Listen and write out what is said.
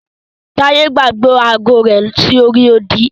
Taye gbàgbé agọ rẹ sí orí odì.